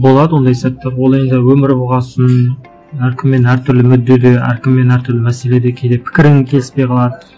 болады ондай сәттер ол енді өмір болған соң әркіммен әртүрлі мүддеде әркіммен әртүрлі мәселеде кейде пікірің келіспей қалады